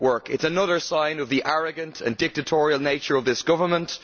It is another sign of the arrogant and dictatorial nature of this government.